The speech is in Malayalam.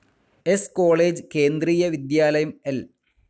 സ്‌ കോളേജ്, കേന്ദ്രീയ വിദ്യാലയം, എൽ.